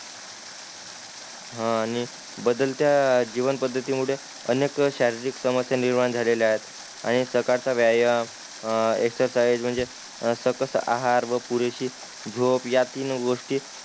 हान आणि बदलत्या जीवन पद्धती मुळे अनेक शारीरिक समस्या निर्माण झालेल्या आहेत आणि सकाळ चा व्यायाम अ एक्सरसाईज म्हणजे सपस आहार व पुरेशी झोप या तीन गोष्टी